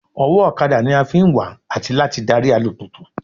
Ọwọ́ ọ̀kadà ni a fi ń wà àti láti darí alùpùpù